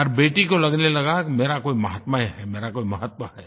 हर बेटी को लगने लगा कि मेरा कोई माहात्म्य है मेरा कोई महत्व है